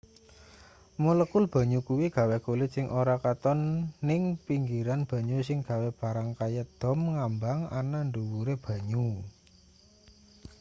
molekul banyu kuwi gawe kulit sing ora katon ning pinggiran banyu sing gawe barang kaya dom ngambang ana ndhuwure banyu